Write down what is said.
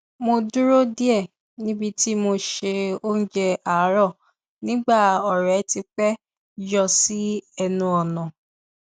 mo dúró díẹ níbi tí mo ṣe oúnjẹ àárọ nígbà ọrẹ ti pẹ yọ sí ẹnu ọnà